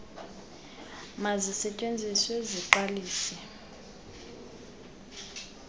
lezithili mazisetyenziswe ziqalise